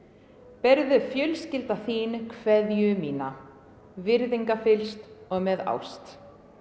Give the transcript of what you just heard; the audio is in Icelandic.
berðu fjölskylda þín kveðju mína virðingarfyllst og með ást